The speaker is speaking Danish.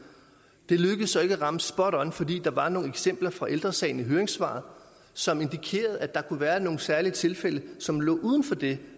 det lykkedes så ikke at ramme spot on fordi der var nogle eksempler fra ældre sagen i høringssvaret som indikerede at der kunne være nogle særlige tilfælde som lå uden for det